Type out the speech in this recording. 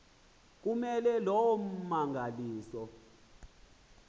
kume loo mmangaliso